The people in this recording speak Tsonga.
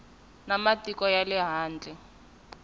na matiko ya le handle